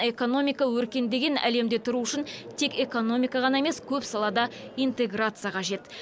экономика өркендеген әлемде тұру үшін тек экономика ғана емес көп салада интеграция қажет